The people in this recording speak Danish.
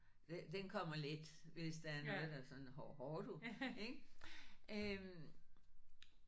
Den kommer let hvis det er noget der sådan hov hov du ik øh